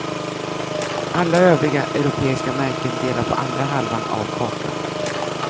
Alla övriga europeiska märken delar på andra halvan av kakan.